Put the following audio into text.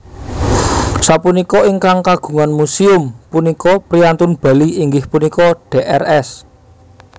Sapunika ingkang kagungan muséum punika priyantun Bali inggih punika Drs